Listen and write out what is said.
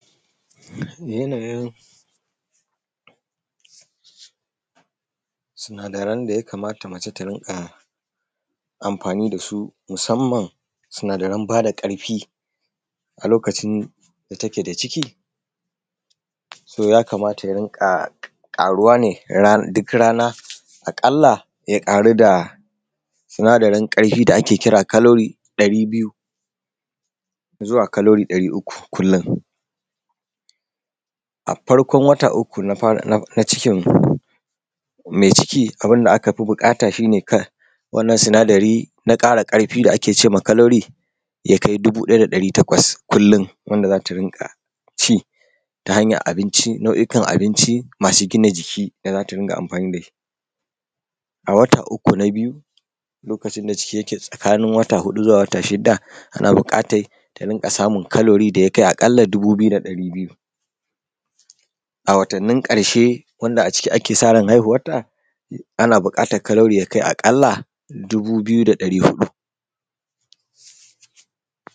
Yanayin sinadaran da ya kamata mace ta dinga amfani da su, musamman sinadaran ba da ƙarfi a lokacin da take da ciki so yakamata ya dinga ƙaruwa ne duk rana. A ƙalla, ya ƙaru da sinadarin ƙarfi da ake kira kalori ɗari biyu zuwa kalori ɗari uku kullum. A farkon wata uku na fara na cikin mai ciki, abunda aka fi buƙata shi ne wannan sinadari na ƙara ƙarfi, da ake ce ma kalori, ya kai dubu ɗaya da ɗari takwas kullum, wanda za ta dinga ci ta hanyan abinci. Nau’ikan abinci masu gina jiki da za ta dinga amfani da shi a wata uku na biyu, wanda lokacin da ciki yake tsakani wata huɗu zuwa wata shidda, ana buƙatan ta dinga samun kalori da yake a ƙalla dubu biyu da ɗari biyu. A watannin ƙarshe, wanda a ciki ake sa ran haihuwanta, ana buƙatan kalori ya kai a ƙalla dubu biyu da ɗari uku.